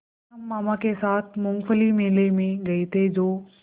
कल हम मामा के साथ मूँगफली मेले में गए थे जो